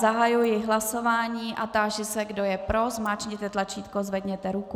Zahajuji hlasování a táži se, kdo je pro, zmáčkněte tlačítko, zvedněte ruku.